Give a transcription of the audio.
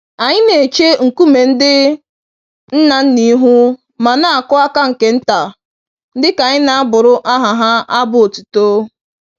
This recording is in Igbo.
Anyị n'eche nkume ndị ńnà ńnà ihu ma n'akụ àkà nke ntà, dịka anyị n'abụrụ aha ha abụ otuto.